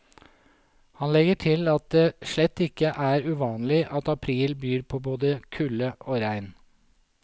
Han legger til at det slett ikke er uvanlig at april byr på både kulde og regn.